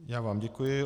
Já vám děkuji.